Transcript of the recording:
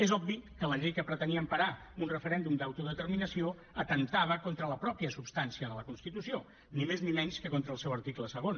és obvi que la llei que pretenia emparar un referèndum d’autodeterminació atemptava contra la mateixa substància de la constitució ni més ni menys que contra el seu article segon